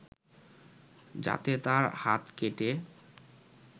যাতে তার হাত কেটে